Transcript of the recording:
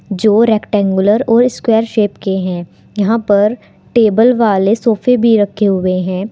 जो रैक्टेंगुलर और square shape के हैं यहां पर टेबल वाले सोफे भी रखे हुए हैं।